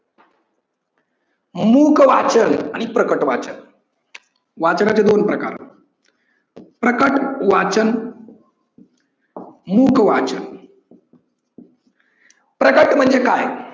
मुख वाचन आणि प्रकट वाचन, वाचनाचे दोन प्रकार प्रकट वाचन, मुख वाचन. प्रकट म्हणजे काय?